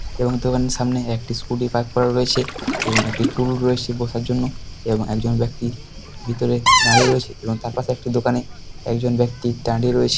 এবং দোকানের সামনে একটি স্কুটি পার্ক করা রয়েছে এবং একটি টুল রয়েছে বসার জন্য এবং একজন ব্যক্তি ভিতরে দাঁড়িয়ে রয়েছে এবং তার পাশে একটি দোকানে একজন ব্যক্তি দাঁড়িয়ে রয়েছে।